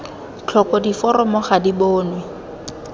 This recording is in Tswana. tlhoko diforomo ga di bonwe